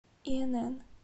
инн